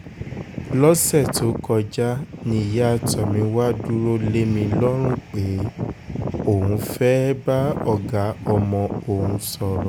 lọ́sẹ̀ tó kọjá níyà tomiwa dúró lé mi lọ́rùn pé òun fẹ́ẹ́ bá ọ̀gá ọmọ òun sọ̀rọ̀